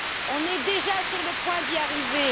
sont ils déjà sur le point d'y arriver?